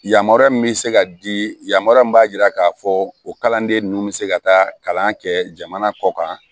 Yamaruya min bɛ se ka di yamaruya min b'a jira k'a fɔ o kalanden ninnu bɛ se ka taa kalan kɛ jamana kɔ kan